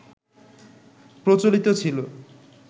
প্রচলিত ছিল